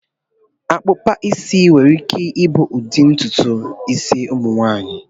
Akpụkpa isi kwesịrị ịbụ ụdị ntutu isi ụmụ agbọghọ